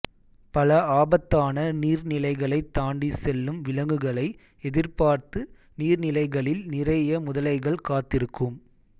பல ஆபத்தான நீர்நிலைகளைத் தாண்டி செல்லும் விலங்குகளை எதிர்பார்த்து நீர்நிலைகளில் நிறைய முதலைகள் காத்திருக்கும்